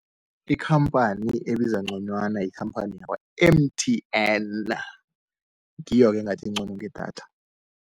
Ikhamphani ebiza ngconywana yikhamphani yakwa-M_T_N, ngiyo-ke engathi engcono ngedatha.